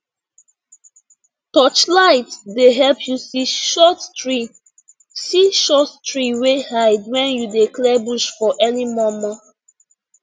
touchlight dey help you see short tree see short tree wey hide when you dey clear bush for early momo